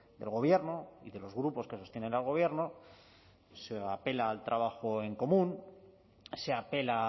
del gobierno y de los grupos que sostienen al gobierno se apela al trabajo en común se apela